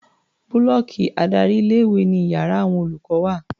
Búlọ́ọ̀kì adárí ilé-ìwé ni iyàrá àwon olùkọ́ wà.